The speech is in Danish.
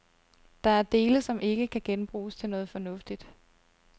Der er dele, som ikke kan genbruges til noget fornuftigt.